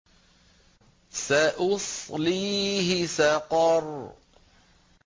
سَأُصْلِيهِ سَقَرَ